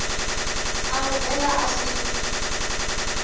a muvend a a si